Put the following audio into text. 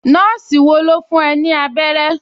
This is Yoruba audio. Nọ́ọ̀sì wo ló fún ẹ ní abẹ́rẹ́?